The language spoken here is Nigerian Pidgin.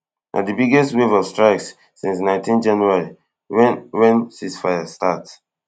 na di biggest wave of strikes since nineteen january wen wen ceasefire start